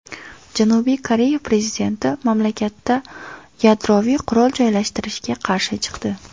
Janubiy Koreya prezidenti mamlakatda yadroviy qurol joylashtirilishiga qarshi chiqdi.